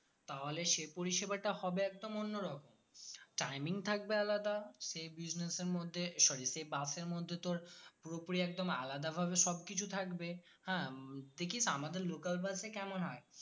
তাহলে সেই পরিষেবাটা হবে একদম অন্যরকম timing থাকবে আলাদা সেই business এর মধ্যে sorry সেই bus এর মধ্যে তোর পুরোপুরি একদম আলাদা ভাবে সবকিছু থাকবে হ্যাঁ দেখিস আমাদের local Bus এ কেমন